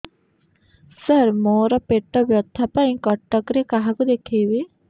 ସାର ମୋ ର ପେଟ ବ୍ୟଥା ପାଇଁ କଟକରେ କାହାକୁ ଦେଖେଇବି